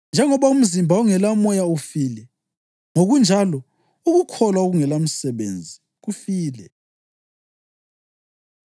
Njengoba umzimba ongelamoya ufile, ngokunjalo ukukholwa okungelamisebenzi kufile.